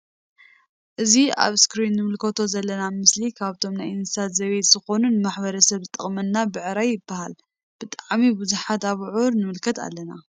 እዚ ኣብ ኣስክሪን እንምልከቶ ዘለና ምስሊ ካብቶም ናይ እንስሳ ዘቤት ዝኮኑ ንማሕረስ ዝጠቅመና ብዕራይ ይበሃል። ብ ጣዕሚ ቡዙሓት ኣብዑር ንምልከት ኣለና።